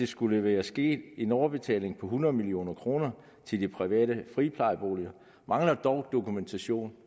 skulle være sket en overbetaling på hundrede million kroner til de private friplejeboliger mangler dog dokumentation